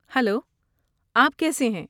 Hello, آپ کیسے ہیں؟